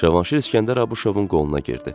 Cavanşir İskəndər Abuşovun qoluna girdi.